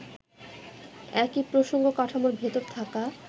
একই প্রসঙ্গ-কাঠামোর ভেতর থাকা